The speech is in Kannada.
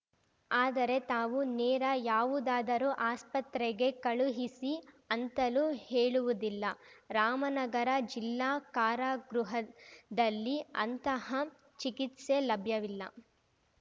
ಆದರೆ ತಾವು ನೇರ ಯಾವುದಾದರೂ ಆಸ್ಪತ್ರೆಗೆ ಕಳುಹಿಸಿ ಅಂತಲೂ ಹೇಳುವುದಿಲ್ಲ ರಾಮನಗರ ಜಿಲ್ಲಾ ಕಾರಾಗೃಹದಲ್ಲಿ ಅಂತಹ ಚಿಕಿತ್ಸೆ ಲಭ್ಯವಿಲ್ಲ